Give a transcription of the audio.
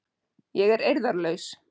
Ég er eirðarlaus.